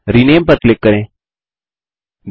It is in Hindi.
रिनेम पर क्लिक करें